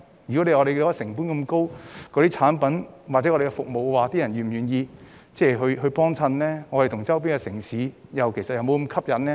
如果我們的產品或服務的成本很高，是否有人願意購買呢？跟周邊城市比較又是否吸引呢？